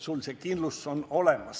Sul peab see kindlustus olemas olema.